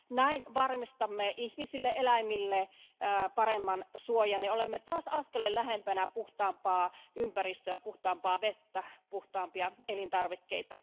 Näin varmistamme ihmisille ja eläimille paremman suojan ja olemme taas askeleen lähempänä puhtaampaa ympäristöä, puhtaampaa vettä ja puhtaampia elintarvikkeita.